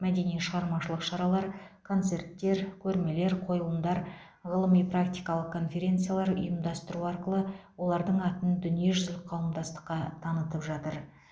мәдени шығармашылық шаралар концерттер көрмелер қойылымдар ғылыми практикалық конференциялар ұйымдастыру арқылы олардың атын дүниежүзілік қауымдастыққа танытып жатыр